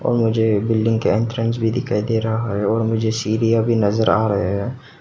और मुझे बिल्डिंग के एंट्रेंस भी दिखाई दे रहा है और मुझे सीढ़ियां भी नजर आ रहे हैं।